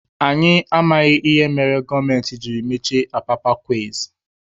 Anyị amaghị ihe mere gọọmenti jiri mechie apapa kways.